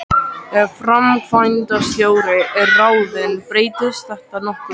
Ef framkvæmdastjóri er ráðinn breytist þetta nokkuð.